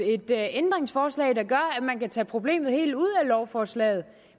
et ændringsforslag der gør at man kan tage problemet helt ud af lovforslaget